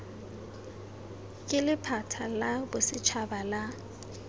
ke lephata la bosetšhaba la